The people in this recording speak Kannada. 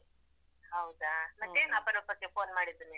ಹೌದಾ ಮತ್ತೇನು ಅಪರೂಪಕ್ಕೆ phone ಮಾಡಿದ್ದು ನೀನು?